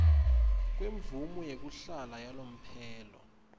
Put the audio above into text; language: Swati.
kwemvumo yekuhlala yalomphelo